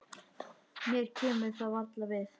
Mér kemur það varla við.